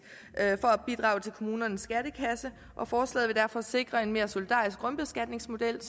for at bidrage til kommunernes skattekasse og forslaget vil derfor sikre en mere solidarisk grundbeskatningsmodel